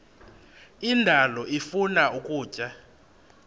indalo ifuna ukutya